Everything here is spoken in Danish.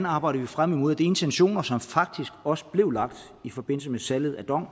arbejder frem imod at de intentioner som faktisk også blev lagt i forbindelse med salget af dong